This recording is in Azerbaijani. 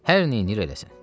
Hər neyləyir eləsin?